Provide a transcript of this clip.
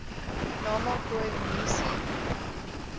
nama khoi munisi